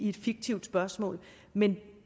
et fiktivt spørgsmål men det